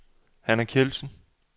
Hanna Kjeldsen